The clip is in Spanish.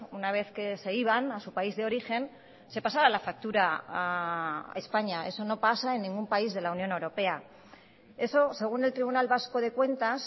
una vez que se iban a su país de origen se pasaba la factura a españa eso no pasa en ningún país de la unión europea eso según el tribunal vasco de cuentas